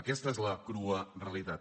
aquesta és la crua realitat